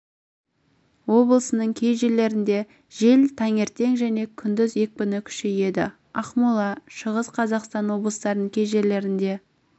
облысының кей жерлерінде жел таңертең және күндіз екпіні күшейеді ақмола шығыс қазақстан облыстарының кей жерлерінде